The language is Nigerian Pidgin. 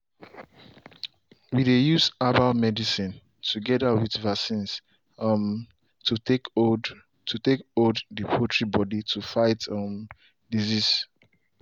we dey use herbal medicine together with vaccines um to take hold to take hold the poultry body to fight um disease.